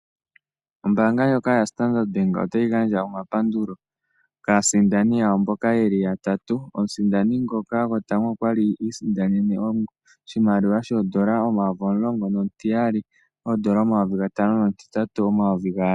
Ombanga ndjoka yaStandard Bank otayi gandja omapandulo kaasindani yawo. Mboka yeli yatatu. Omusindani ngoka gotango okwali isindanena oshimaliwa sho odollar omayovi omulongo. Nomutiyali odollar omayovi gatano. Nomutitati odollar omayovi gaali.